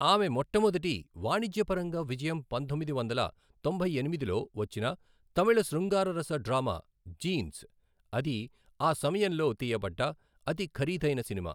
ఆమె మొట్టమొదటి వాణిజ్యపరంగా విజయం పంతొమ్మిది వందల తొంభై ఎనిమిదిలో వచ్చిన తమిళ శృంగారరస డ్రామా జీన్స్, అది ఆ సమయంలో తీయపడ్డ అతి ఖరీదైన సినిమా.